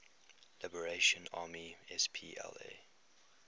liberation army spla